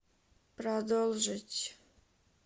продолжить